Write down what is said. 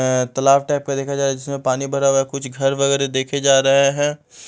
अ तालाब टाइप का देखा जाए जिसमें पानी भरा हुआ है कुछ घर वगैरह देखे जा रहे हैं।